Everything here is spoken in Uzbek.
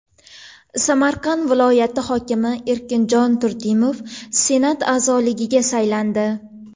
Samarqand viloyati hokimi Erkinjon Turdimov Senat a’zoligiga saylandi.